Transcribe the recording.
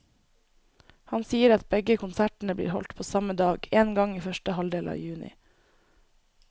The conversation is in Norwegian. Han sier at begge konsertene blir holdt på samme dag, en gang i første halvdel av juni.